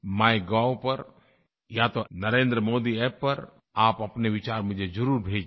MyGov पर या तो NarendraModiApp पर आप अपने विचार मुझे ज़रूर भेजिए